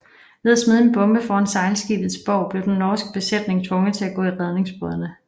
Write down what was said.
Ved at smide en bombe foran sejlskibets bov blev dens norske besætning tvunget til at gå i redningsbådene